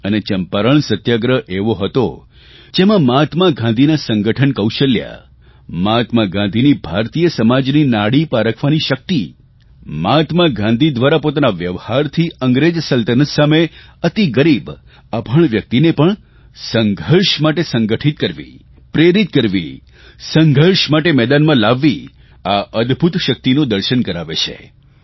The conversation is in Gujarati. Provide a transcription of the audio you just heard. અને ચંપારણ સત્યાગ્રહ એવો હતો જેમાં મહાત્મા ગાંધીના સંગઠન કૌશલ્ય મહાત્મા ગાંધીની ભારતીય સમાજની નાડી પારખવાની શકિત મહાત્મા ગાંધી દ્વારા પોતાના વ્યવહારથી અંગ્રેજ સલ્તનત સામે અતિ ગરીબ અભણ વ્યકિતને પણ સંઘર્ષ માટે સંગઠિત કરવી પ્રેરિત કરવી સંઘર્ષ માટે મેદાનમાં લાવવી આ અદભૂત શકિતનું દર્શન કરાવે છે